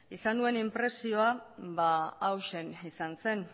izan nuen inpresioa hauxe izan zen